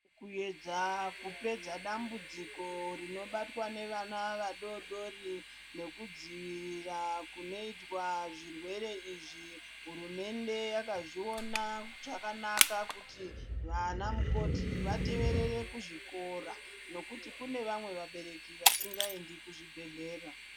Kuedza kupedza dambudziko rinobatwa ngevana vadodori nekudzivirira kunoitwa zvirwere izvi, hurumende yakazviona zvakanaka kuti vanamukoti vateverere kuzvikora ngekuti kune vamwe vabereki vasingaendi kuzvibhedhlera.